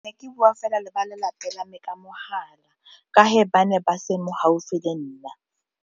Ke bua fela le ba lelapa la me ka mahala ka ba ne ba se mo gaufi le nna.